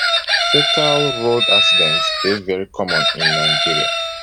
fatal road accidents dey very common in nigeria